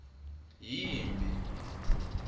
yimphi